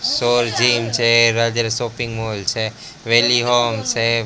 છે shopping mall છે છે.